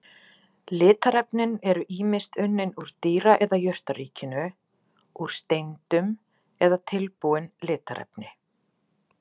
Litarefnin eru ýmist unnin úr dýra- eða jurtaríkinu, úr steindum eða tilbúin litarefni.